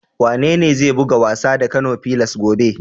Wanene zai buga wasa da Kano fillars gobe?